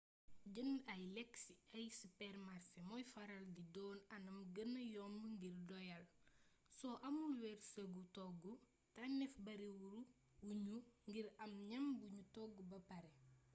jënd ay lekk ci ay sipeermasé mooy faral di doon anam gëna yomb ngir doyal soo amul wërsëgu togg tànnéef bari wuñu ngir am ñam buñu togg ba paré